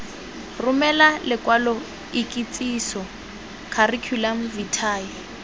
romele lokwalo ikitsiso curriculum vitae